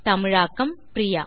தமிழாக்கம் பிரியா